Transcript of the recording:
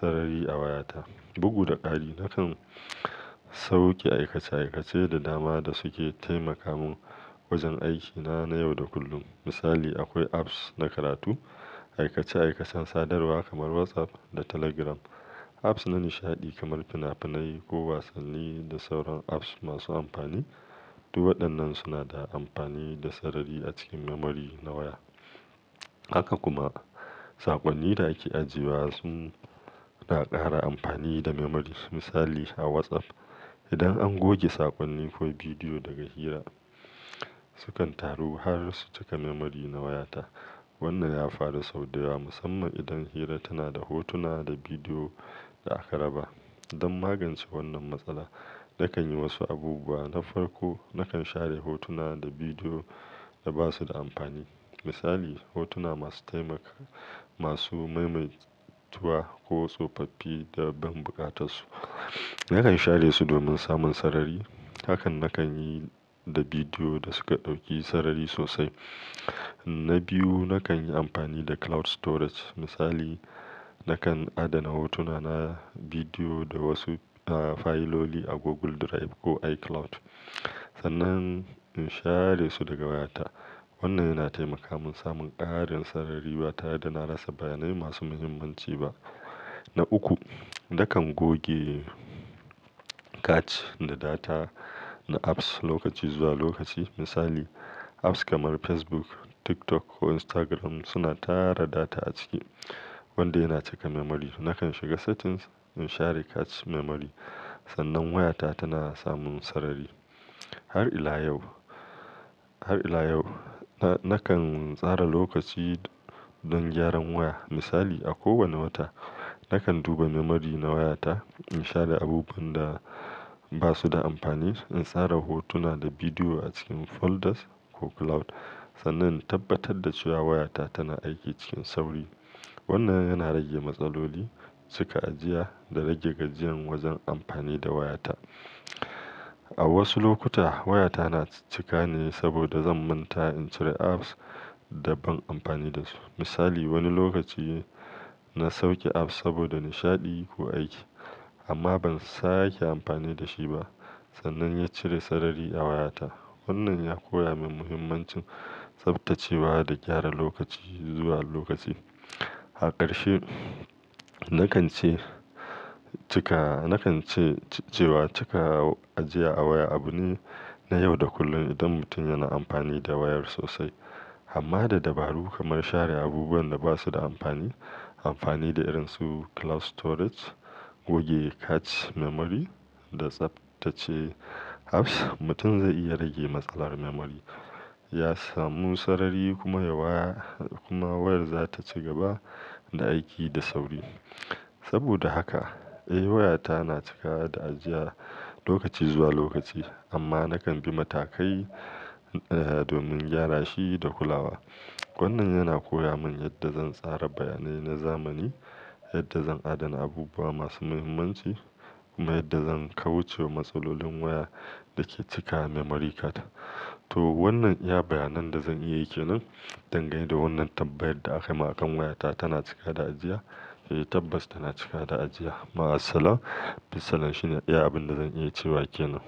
sarari a wayata. Bugu da ƙari, nakan sauke aikace aikace da dama da suke taimaka mun wajen aikina na yau da kullum. Misali, akwai apps na karatu, aikace aikacen sadarwa kamar WhatsApp da Telegram, apps na nishaɗi kamar fina-finai ko wasanni da sauran apps masu amfani. Du waɗannan suna da amfani da sarari a cikin memory na waya. Haka kuma saƙonnin da ake ajiyewa sun na ƙara amfani da memory. Misali a WhatsApp, idan an goge saƙonni ko bidiyo daga hira, sukan taru har su cika memory na wayata. Wannan ya fara sau da yawa musamman idan hira tana da hotuna da bidiyo da aka raba. Don magance wannan matsala, nakan yi wasu abubuwa. Na farko, nakan share hotuna da bidiyo da ba su da amfani. Misali, hotuna masu taimaka masu maimaituwa ko tsofaffi da ban buƙatar su. Nakan share su domin samun sarari. Hakan nakan yi da bidiyo da suka ɗauki sarari sosai. Na biyu, nakan yi amfani da cloud storage. Misali, nakan adana hotuna na, bidiyo da wasu ah fayiloli a Google Drive ko iCloud sannan in share su daga wayata. Wannan yana taimaka mun samun ƙarin sarari ba tare da na rasa bayanai masu muhimmanci ba. Na uku, nakan goge cache da data na apps lokaci zuwa lokaci. Misali, apps kamar Facebook, TikTok ko Instagram suna tara data a ciki wanda yana cika memory. Nakan shiga settings in share cache memory sannan wayata tana samun sarari. Har ila yau, har ila yau na-nakan tsara lokaci don gyaran waya. Misali, a kowane wata nakan duba memory na wayata, in share abubuwan da ba su da amfani, in tsara hotuna da bidiyo a cikin folders ko cloud sannan in tabbatar da cewa wayata tana aiki cikin sauri. Wannan yana rage matsaloli cika ajiya da rage gajiyan wajen amfani da wayata. A wasu lokuta wayata na cika ne saboda zan manta in cire apps da ban amfani da su. Misali, wani lokaci na sauke app saboda nishaɗi ko aiki amma ban sake amfani da shi ba sannan ya cire sarari a wayata. Wannan ya koya min muhimmancin tsaftacewa da gyara lokaci zuwa lokaci. A ƙarshe, nakan ce cika, nakan ce, ce cewa cika ajiya a waya abu ne na yau da kullun idan mutum yana amfani da wayar sosai. Amma da dabaru kamar share abubuwan da ba su da amfani, amfani da irin su cloud storage, goge cache memory da tsaftace apps, mutum zai iya rage matsalar memory, ya samu sarari kuma waya kuma wayar za ta ci gaba da aiki da sauri. Saboda haka, eh wayata na cika da ajiya lokaci zuwa lokaci amma nakan bi matakai domin gyara shi da kulawa. Wannan yana koya mun yadda zan tsara bayanai na zamani, yadda zan adana abubuwa masu muhimmanci kuma yadda zan kauce wa matsalolin waya da ke cika memory karta. To wannan iya bayanan da zan iya yi kenan dangane da wannan tambayar da aka yi man akan wayata tana cika da ajiya. Eh tabbas tana cika da ajiya ma assalam, bissalam shi ne iya abin da zan iya cewa ke nan.